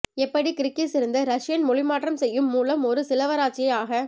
எப்படி கிர்கிஸ் இருந்து ரஷியன் மொழிமாற்றம் செய்யும் மூலம் ஒரு சிலவராட்சியை ஆக